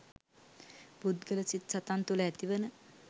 පුද්ගල සිත් සතන් තුළ ඇතිවන